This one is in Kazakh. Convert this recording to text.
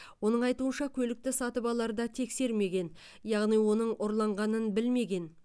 оның айтуынша көлікті сатып аларда тексермеген яғни оның ұрланғанын білмеген